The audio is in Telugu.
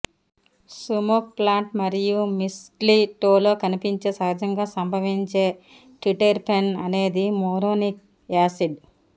సుమోక్ ప్లాంట్ మరియు మిస్ట్లీటోలో కనిపించే సహజంగా సంభవించే ట్రిటెర్పెన్ అనేది మోరోనిక్ యాసిడ్